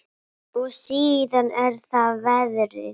Og síðan er það veðrið.